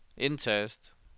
indtast